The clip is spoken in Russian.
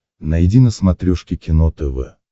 найди на смотрешке кино тв